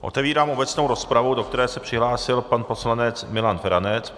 Otevírám obecnou rozpravu, do které se přihlásil pan poslanec Milan Feranec.